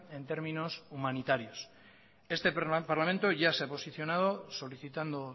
en términos humanitarios este parlamento ya se ha posicionado solicitando